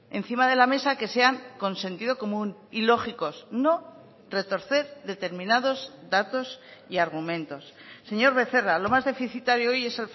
encima de la mesa que sean con sentido común y lógicos no retorcer determinados datos y argumentos señor becerra lo más deficitario hoy es